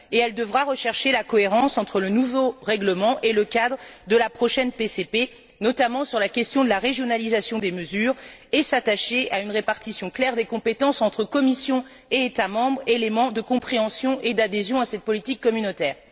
Et elle devra rechercher la cohérence entre le nouveau règlement et le cadre de la prochaine PCP, notamment sur la question de la régionalisation des mesures, et s'attacher à une répartition claire des compétences entre Commission et États membres, élément de compréhension et d'adhésion à cette politique communautaire.